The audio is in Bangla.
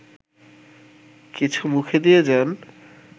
কিছু মুখে দিয়ে যান